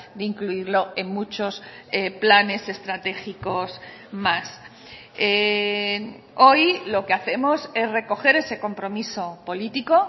de incluirlo en muchos planes estratégicos más hoy lo que hacemos es recoger ese compromiso político